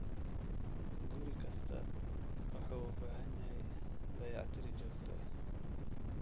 Guri kasta wuxuu u baahan yahay dayactir joogto ah.